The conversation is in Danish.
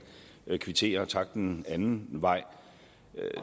kvittere og takke den anden vej